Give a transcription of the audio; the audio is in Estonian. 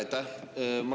Aitäh!